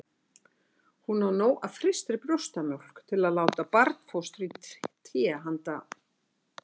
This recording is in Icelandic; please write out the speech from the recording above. Hún á nóg af frystri brjóstamjólk til að láta barnfóstru í té handa